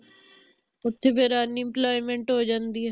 ਓਥੇ ਫਿਰ unemployment ਹੋ ਜਾਂਦੀ ਹੈ